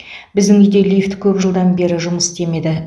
біздің үйде лифт көп жылдан бері жұмыс істемеді